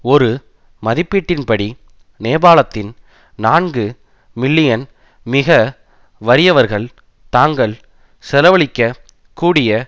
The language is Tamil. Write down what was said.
ஒரு மதிப்பீட்டின்படி நேபாளத்தின் நான்கு மில்லியன் மிக வறியவர்கள் தாங்கள் செலவழிக்க கூடிய